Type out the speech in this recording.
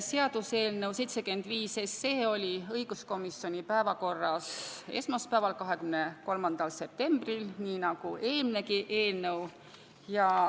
Seaduseelnõu 75 oli õiguskomisjoni päevakorras esmaspäeval, 23. septembril nii nagu eelminegi eelnõu.